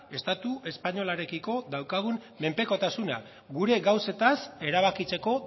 estatu espainolarekiko daukagun menpekotasuna gure gauzetaz erabakitzeko